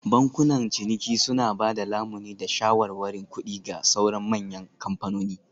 Bankunan ciniki suna ba da lamuni da shawarwarin kuɗi ga sauran manyan kamfanoni